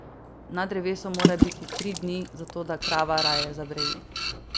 Na drevesu mora biti tri dni, zato da krava raje zabreji.